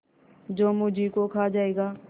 जो मुझी को खा जायगा